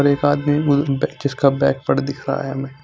और एक आदमी ने दिखाया है।